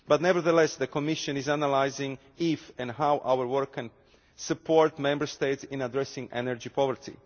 But nevertheless, the Commission is analysing if and how our work can support the Member States in addressing energy poverty.